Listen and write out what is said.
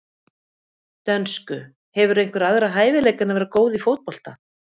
dönsku Hefurðu einhverja aðra hæfileika en að vera góð í fótbolta?